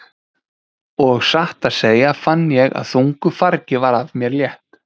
Og satt að segja fann ég að þungu fargi var af mér létt.